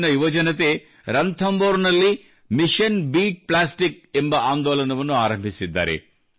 ಇಲ್ಲಿಯ ಯುವಜನತೆ ರಣಥಂಬೋರ್ ನಲ್ಲಿ ಮಿಶನ್ ಬೀಟ್ ಪ್ಲಾಸ್ಟಿಕ್ ಎಂಬ ಆಂದೋಲನವನ್ನು ಆರಂಭಿಸಿದ್ದಾರೆ